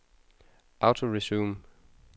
autoresume